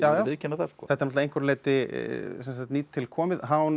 að viðurkenna það þetta er að einhverju leyti nýtilkomið